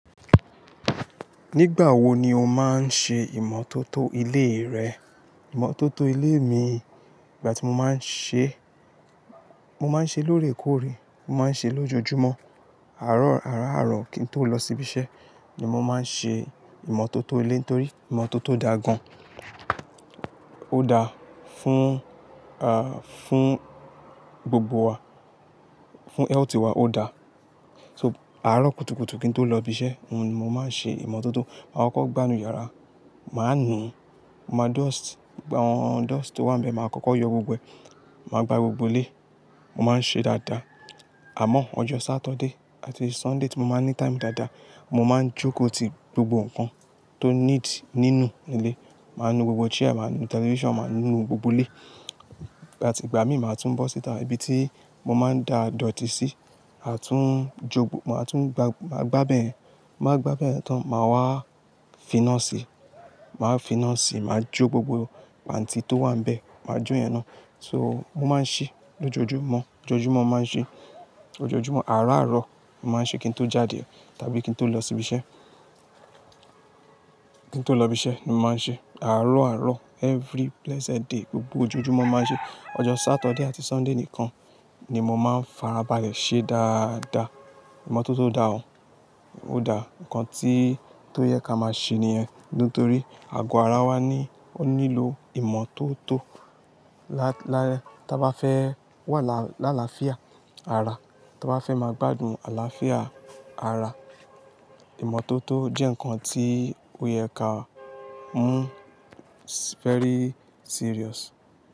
Nígbà wo ni o máa ń ṣe ìmọ́tótó ilé rẹ? Ìmọ́tótó ilé mi, ìgbà tí mo máa ń ṣe, mo máa ń ṣe lóòrèkóòrè, mo máa ń ṣe lójojúmọ́. Àárọ̀, àárọ̀ kí n tó lọ síbi iṣẹ́ ni mo máa ń ṣe ìmọ́tótó ilé torí ìmọ́tótó da gan. Ó da fún, ah, fún gbogbo wa, fún health wa ó da. So àárọ̀ kùtùkùtù kí n tó lọ ibi iṣẹ́ ni mo máa ń ṣe ìmọ́tótó. Mà á kọ́kọ́ gbá inú yàrá, mà á nu, mo máa dust, gbogbo àwọn dust tó wà níbẹ̀, mà á kọ́kọ́ yọ gbogbo ẹ̀, mà á gba gbogbo ilé, mo máa ń ṣe dáadáa. Àmọ́ ọjọ́ Saturday àti Sunday tí mo máa ń ní time dáadáa mo máa ń jóko ti gbogbo nǹkan tó need nínú ilé. Mà á nu gbogbo chair, mà á nu television, mà á nu gbogbo ilé. Ìgbà tí ìgbà mí máa tún bọ́ síta, ibi tí mo máa ń da dọ̀tí sí, à tún jogbo, mà á tún gba, mà á gbá bẹ̀yẹn, mà á gbá bẹ̀yẹn tán, mà wá finá sí, mà á finá sí, mà á jó gbogbo pantí tó wà níbẹ̀, mà á jó yẹn náà. So mo máa ń ṣí lójojúmọ́, lójojúmọ́ mo máa ń ṣí, lójojúmọ́. Àárọ̀ àárọ̀ mo máa ń ṣe kí n tó jáde tàbí kí n tó lọ síbi iṣẹ́, kí n tó lọ ibi iṣẹ́ ni mo máa ń ṣe. Àárọ̀ àárọ̀ every blessed day gbogbo ojojúmọ́ mo máa ń ṣe. Ọjọ́ Saturday àti Sunday nìkan ni mo máa ń farabalẹ̀ ṣe dáadáa. Ìmọ́tótó da gan, ó da. Ǹkan tí, tó yẹ ká máa ṣe nìyẹn nítorí àgọ́ ara wa ní, ó nílò ìmọ́tótó. Lá-- lá-- tí a bá fẹ́ wà lá-- l'àlàáfíà ara, tí a bá fẹ́ máa gbádùn àlàáfíà ara, ìmọ́tótó jẹ́ ǹkan tí ó yẹ ká mú very serious.